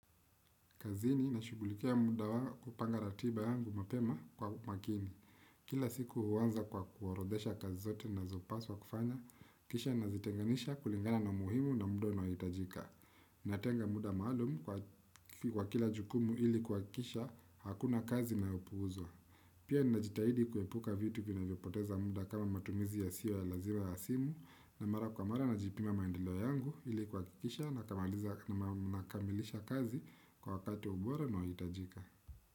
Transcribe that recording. Kazini na shugulikia muda wangu kupanga ratiba yangu mapema kwa makini. Kila siku huanza kwa kuorodhesha kazi zote nazopaswa kufanya, kisha nazitenganisha kulingana na umuhimu na muda na unaohitajika. Natenga muda maalum kwa kila jukumu ili kuhakikisha, hakuna kazi inayopuuzwa. Pia najitahidi kuepuka vitu vinavyo poteza muda kama matumizi yasiyo ya lazima ya simu, na mara kwa mara najipima maendeleo yangu ili kuhakikisha na kamaliza na kamilisha kazi kwa wakati bora na wa tajika.